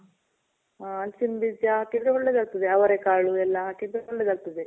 ಹಲಸಿನ್ ಬೀಜ ತಿಂದ್ರೆ ಒಳ್ಳೇದ್ ಆಗ್ತದೆ. ಅವರೆಕಾಳು ಎಲ್ಲ ಹಾಕಿದ್ರೆ ಒಳ್ಳೇದ್ ಆಗ್ತದೆ.